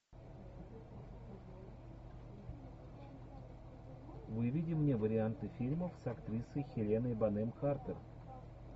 выведи мне варианты фильмов с актрисой хеленой бонем картер